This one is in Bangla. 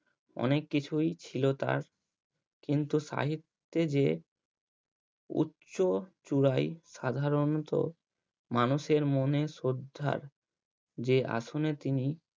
অনেক কিছুই ছিল তার কিন্তু সাহিত্যে যে উচ্চ চূড়াই সাধারণত মানুষের মনে সদ্ধার যে আসনে তিনি